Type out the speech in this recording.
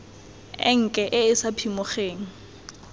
enke e e sa phimogeng